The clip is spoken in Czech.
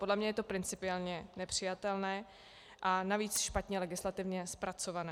Podle mne je to principiálně nepřijatelné a navíc špatně legislativně zpracované.